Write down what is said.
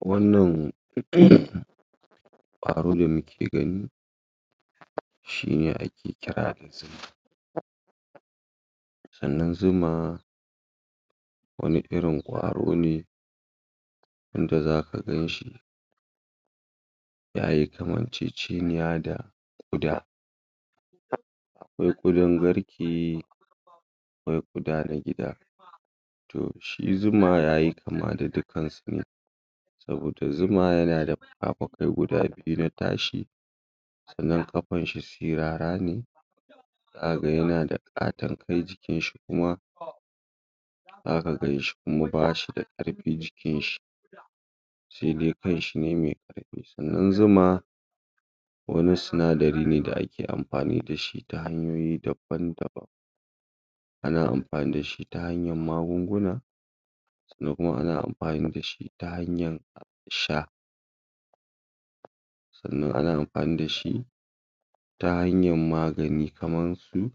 Wannan um ƙwaro da muke gani shi ne ake kira sannan zuma wani irin ƙwaro ne wanda za ka gan shi ya yi kamanceceniya da, da wai ƙudan garke wai ƙuda na gida Shi zuma ya yi kama da dukkansu Zuma yana fuka-fukai guda biyu na tashi sannan ƙafan shi sirara ne za ka ga yana ƙaton kai, jikin shi kuma za ka gan shi kuma ba shi da ƙarfi jikin shi sai dai kan shi ne mai Sannan zuma wani sinadari ne da ake amfani da shi ta hanyoyi daban-daban ana amfani da shi ta hanyar magunguna ko kuma ana amfani da shi ta hanyar sha. Sannan ana amfani da shi ta hanyar magani, kamar su